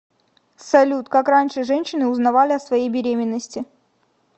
салют как раньше женщины узнавали о своей беременности